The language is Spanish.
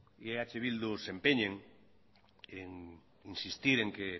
y eh bildu se empeñen en insistir en que